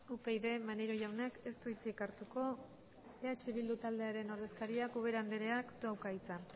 upyd maneiro jaunak ez du hitzik hartuko eh bildu taldearen ordezkariak ubera andreak dauka hitza